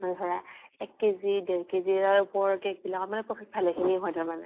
আৰু ধৰা এক কে জি ডেৰ কে জি তাৰে উপৰৰ cake বিলাকত মানে profit ভালেখিনি হয় তাৰ মানে।